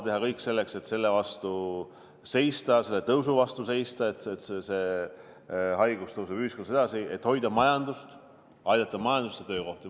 Teha kõik selleks, et selle vastu seista, selle tõusu vastu seista, et see haigus ei kasvaks ühiskonnas edasi, et hoida majandust, aidata majandust ja töökohti.